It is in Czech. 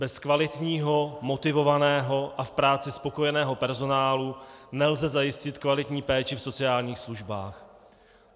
Bez kvalitního, motivovaného a v práci spokojeného personálu nelze zajistit kvalitní péči v sociálních službách.